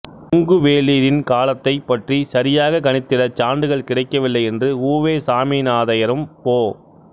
கொங்குவேளிரின் காலத்தைப் பற்றிச் சரியாகக் கணித்திடச் சான்றுகள் கிடைக்கவில்லை என்று உ வே சாமிநாதையரும் பொ